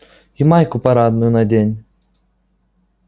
и майку парадную надень